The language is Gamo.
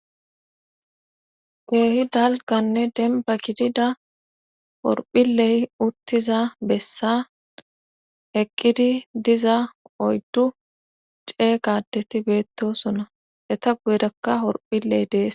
keehi dalganne demba kidida horphiley uttiza bessa eqqidi diza oyddu cee gaadetti beetto suna eta guedakka horphiley dees